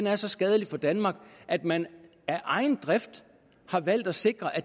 er så skadelig for danmark at man af egen drift har valgt at sikre at